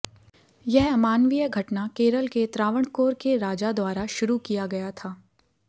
यह अमानवीय घटना केरल के त्रावणकोर के राजा द्वारा शुरू किया गया था